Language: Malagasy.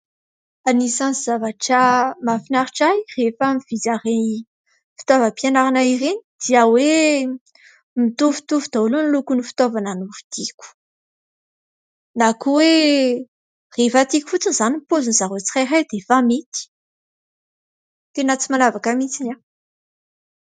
Anisany zavatra mahafinaritra ahy rehefa mividy an'ireny fitaovam-pianarana ireny dia hoe mitovitovy daholo ny lokon'ny fitaovana novidiko na koa hoe rehefa tiako fotsiny izany ny paozin'izy ireo tsirairay dia efa mety. Tena tsy manavaka mihitsy aho.